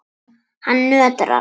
Hann nötrar.